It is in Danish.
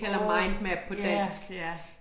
åh ja, ja